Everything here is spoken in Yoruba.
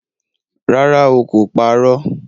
Rárá o, kò parọ́